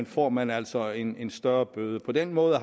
får man altså en en større bøde på den måde